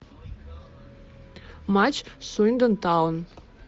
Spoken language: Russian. матч суиндон таун